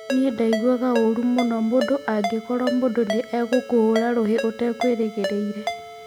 Nĩ ndaiguaga ũũru mũno mũndũ angĩkorũo mũndũ nĩ egũkũhũũra rũhi ũtegwĩrĩgĩrĩire.